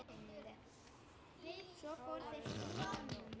hváði faðir hans loks.